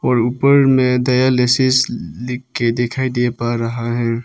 ऊपर में डायलिसिस लिख के दिखाई पड़ रहा है।